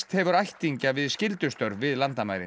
hefur ættingja við skyldustörf við landamærin